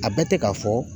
A bɛ tɛ k'a fɔ